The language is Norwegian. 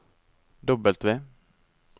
W